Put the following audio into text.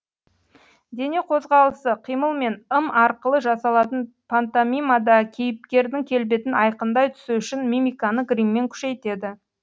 дене қозғалысы қимыл мен ым арқылы жасалатын пантомимада кейіпкердің келбетін айқындай түсу үшін мимиканы гриммен күшейтеді